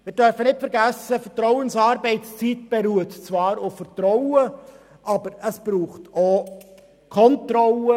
Wir dürfen nicht vergessen, dass Vertrauensarbeitszeit zwar auf Vertrauen beruht, aber es braucht auch Kontrolle.